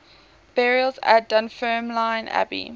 burials at dunfermline abbey